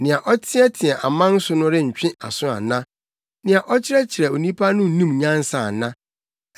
Nea ɔteɛteɛ aman so no rentwe aso ana? Nea ɔkyerɛkyerɛ onipa no nnim nyansa ana?